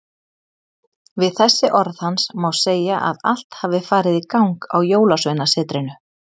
Við þessi orð hans má segja að allt hafi farið í gang á Jólasveinasetrinu.